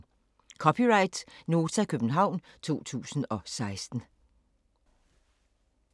(c) Nota, København 2016